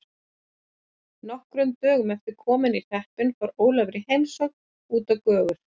Nokkrum dögum eftir komuna í hreppinn fór Ólafur í heimsókn út á Gjögur.